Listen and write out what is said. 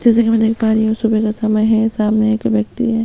जैसा की मै देख पा रही हु सुबह का समय है सामने एक व्यक्ति है।